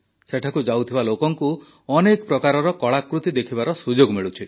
ସେଠାକୁ ଯାଉଥିବା ଲୋକଙ୍କୁ ଅନେକ ପ୍ରକାରର କଳାକୃତି ଦେଖିବାର ସୁଯୋଗ ମିଳୁଛି